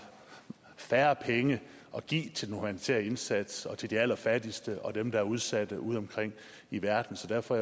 færre penge at give til den humanitære indsats og til de allerfattigste og dem der er udsatte udeomkring i verden så derfor